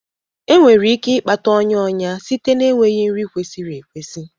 Enwere ike ịkpata ọnya ọnya site na enweghị nri kwesịrị ekwesị.